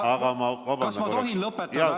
Kas ma tohin ära lõpetada?